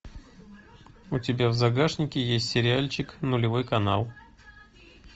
у тебя в загашнике есть сериальчик нулевой канал